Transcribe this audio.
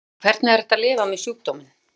En hvernig er að lifa með sjúkdóminn?